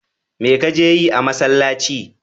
Me ka je yi a masallci?